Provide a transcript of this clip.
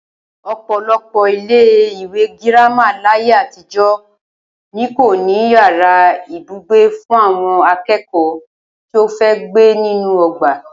Ò̩pò̩lo̩pò̩ ilé-ìwé girama láyé àtijó̩ ni kò ní yàrá ibùgbé fún àwo̩n aké̩kò̩ó̩ tí ó fe gbé nínú o̩gbà